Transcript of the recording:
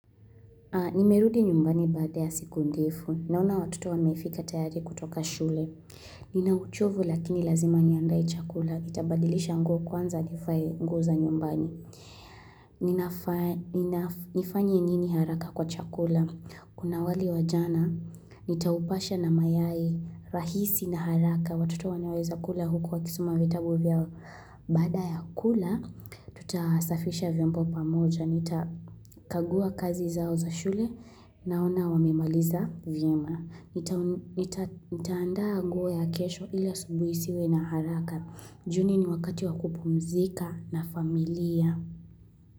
Nimerudi nyumbani baada ya siku ndefu. Naona watoto wamefika tayari kutoka shule. Ninauchovu lakini lazima niandae chakula. Nitabadilisha nguo kwanza nifae nguo za nyumbani. Nifanye nini haraka kwa chakula. Kuna wali wa jana, nitaupasha na mayai rahisi na haraka. Watoto wanaweza kula huku wakisoma vitabu vyao. Baada ya kula, tutasafisha vyombo pamoja. Nitakagua kazi zao za shule naona wamemaliza vyema Nitaandaa nguo ya kesho ili asubuhi nisiwe na haraka Juni ni wakati wa kupumzika na familia.